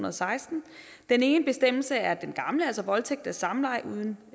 og seksten den ene bestemmelse er den gamle altså at voldtægt er samleje uden